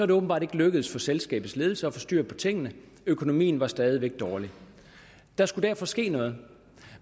det åbenbart ikke lykkedes for selskabets ledelse at få styr på tingene økonomien er stadig væk dårlig der skulle derfor ske noget